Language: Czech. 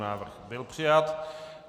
Návrh byl přijat.